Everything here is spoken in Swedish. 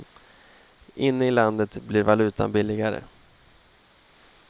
Inne i landet blir valutan billigare.